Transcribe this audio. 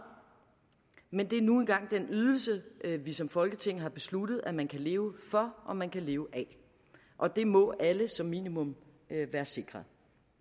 men det er nu engang den ydelse vi som folketing har besluttet at man kan leve for og man kan leve af og det må alle som minimum være sikret